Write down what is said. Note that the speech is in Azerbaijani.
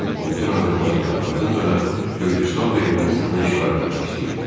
O bütün Azərbaycanı, ardınca da Gürcüstan və Ermənistanı işğal eləmək istəyirdi.